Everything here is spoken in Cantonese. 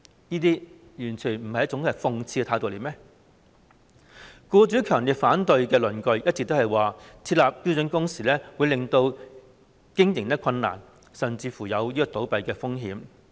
僱主強烈反對設立標準工時的論據，一直都是有關政策會令企業經營困難，甚至有倒閉的風險。